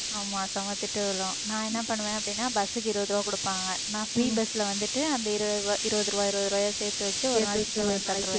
ஆமா செம திட்டு விழும் நான் என்ன பண்ணுவேன் அப்படின்னா bus க்கு இருபது ரூபாய் கொடுப்பாங்க நான் free bus ல வந்துட்டு அந்த இருபது ரூபாய் இருபது ரூபாய் இருபது ரூபாயை சேர்த்து வச்சு ஒருநாளைக்கு chicken வாங்கி சாப்பிட்டுக்கிறது